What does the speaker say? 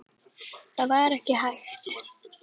Það var ekki hægt.